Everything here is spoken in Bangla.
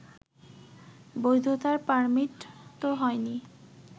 বৈধতার পার্মিট তো হয়নি